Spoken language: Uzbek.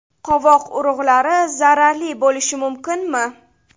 Qovoq urug‘lari zararli bo‘lishi mumkinmi?